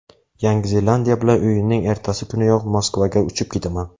Yangi Zelandiya bilan o‘yinning ertasi kuniyoq Moskvaga uchib ketaman.